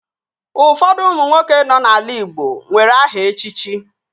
Ụfọdụ ụmụ nwoke nọ n'ala igbo nwere aha echichi